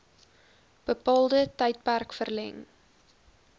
bepaalde tydperk verleng